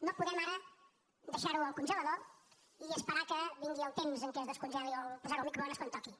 no podem ara deixar ho al congelador i esperar que vingui el temps en què es descongeli o posar ho al microones quan toqui